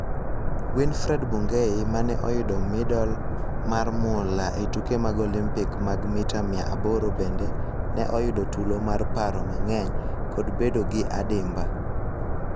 Winfred Bungei mane oyudo midal mar mula e tuke mag Olimpik mag mita mia aboro bende ne oyudo tulo mar paro mang'eny kod bedo gi adimba.